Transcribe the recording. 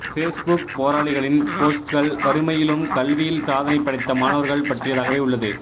Facebook போராளிகளின் போஸ்ட்கள் வறுமையிலும் கல்வியில் சாதனை படைத்த மாணவர்கள் பற்றியதாகவே உள்ளது